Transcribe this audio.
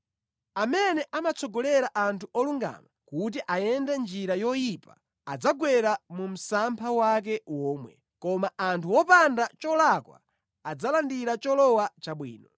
Amene amatsogolera anthu olungama kuti ayende mʼnjira yoyipa adzagwera mu msampha wake womwe, koma anthu opanda cholakwa adzalandira cholowa chabwino.